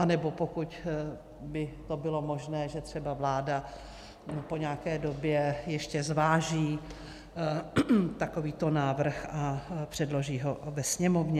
Anebo pokud by to bylo možné, že třeba vláda po nějaké době ještě zváží takovýto návrh a předloží ho ve Sněmovně.